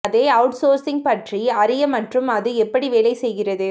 அதை அவுட்சோர்ஸிங் பற்றி அறிய மற்றும் அது எப்படி வேலை செய்கிறது